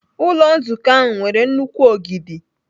Ụlọ nzukọ ahụ nwere nnukwu ogidi.